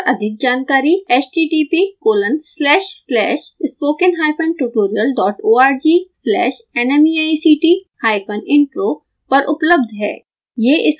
इस मिशन पर अधिक जानकारी